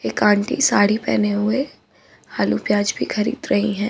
एक आंटी साड़ी पहने हुए आलू-प्याज भी खरीद रही हैं।